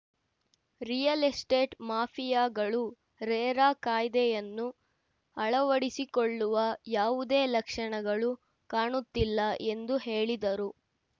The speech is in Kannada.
ರಿಯಲ್‌ ಎಸ್ಟೇಟ್‌ ಮಾಫಿಯಾಗಳು ರೇರಾ ಕಾಯ್ದೆಯನ್ನು ಅಳವಡಿಸಿಕೊಳ್ಳುವ ಯಾವುದೇ ಲಕ್ಷಣಗಳು ಕಾಣುತ್ತಿಲ್ಲ ಎಂದು ಹೇಳಿದರು